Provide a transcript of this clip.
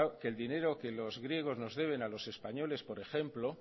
que el dinero que los griegos nos deben a los españoles por ejemplo